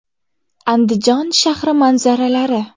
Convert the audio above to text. Andijon shahri manzaralari.